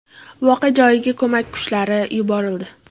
Voqea joyiga ko‘mak kuchlari yuborildi.